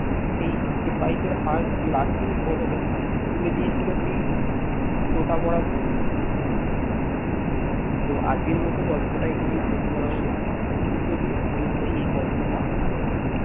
সেই সিপাহী দের হাত লাঠির বদলে তুলে দিয়েছিল সেই তোতা ভরা বন্ধুক তো আজকের মতো গল্প টা এখানেই শেষ করা হল দিতীয় দিন নিশ্চয়ই এই গল্পটা আবার